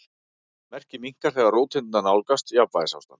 Merkið minnkar þegar róteindirnar nálgast jafnvægisástand.